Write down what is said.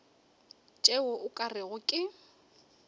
tšeo o ka rego ke